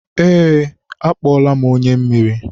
ee, akpọọla m onye mmiri.